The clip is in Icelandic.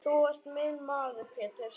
Þú ert minn maður Pétur.